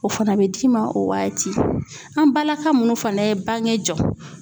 O fana bɛ d'i ma o waati an balaka minnu fana ye bange jɔ